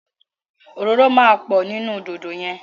Òróró máa pọ̀ nínú dòdò yẹn.